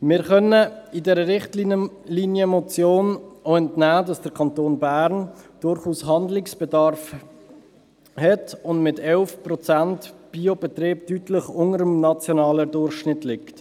Wir können dieser Richtlinienmotion auch entnehmen, dass der Kanton Bern durchaus Handlungsbedarf hat und mit 11 Prozent Biobetrieben deutlich unter dem nationalen Durchschnitt liegt.